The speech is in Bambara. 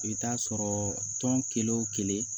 I bɛ taa sɔrɔ tɔn kelen o kelen